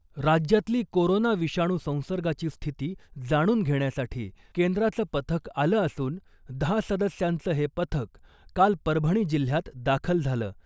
राज्यातली कोरोना विषाणू संसर्गाची स्थिती जाणून घेण्यासाठी केंद्राचं पथक आलं असून , दहा सदस्यांचं हे पथक काल परभणी जिल्ह्यात दाखल झालं .